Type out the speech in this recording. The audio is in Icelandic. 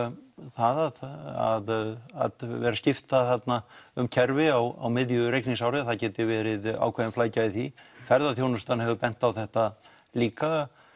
það að vera að skipta þarna um kerfi á miðju reikningsári það geti verið ákveðin flækja í því ferðaþjónustan hefur bent á þetta líka